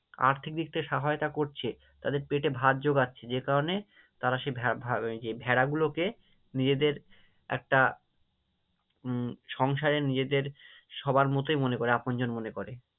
আর্থিক দিক থেকে সহায়তা করছে, তাদের পেটে ভাত যোগাচ্ছে যে কারণে তারা সেই ভেড়া গুলোকে নিজেদের একটা উম সংসারে নিজেদের সবার মতোই মনে করে আপনজন মনে করে।